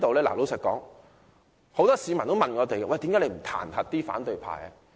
事實上，很多市民都問我們為何不彈劾反對派。